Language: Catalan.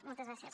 moltes gràcies